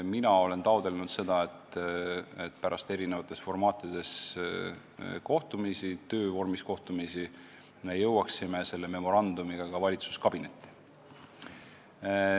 Mina olen taotlenud seda, et pärast erinevates formaatides töövormis kohtumisi me jõuaksime selle memorandumiga ka valitsuskabinetti.